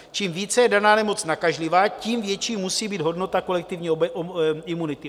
Čím více je daná nemoc nakažlivá, tím větší musí být hodnota kolektivní imunity.